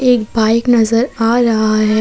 एक बाइक नजर आ रहा है।